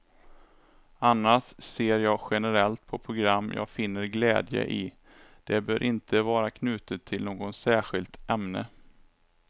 Annars ser jag generellt på program jag finner glädje i, det behöver inte vara knutet till något särskilt ämne.